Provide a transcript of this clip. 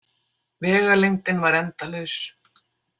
Vegalengdin var endalaus.